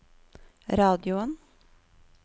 radioen